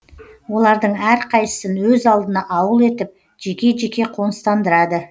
олардың әрқайсысын өз алдына ауыл етіп жеке жеке қоныстандырады